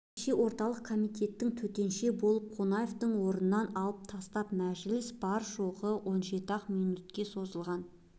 кеше орталық комитеттің төтенше болып қонаевты орнынан алып тастапты мәжіліс бар-жоғы он жеті-ақ минутке созылған